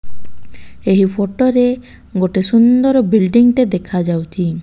ଏହି ଫଟୋ ରେ ଗୋଟେ ସୁନ୍ଦର ବିଲଡିଙ୍ଗ ଟେ ଦେଖାଯାଉଛି।